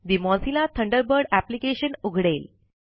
ठे Mozilla Thunderbird application उघडेल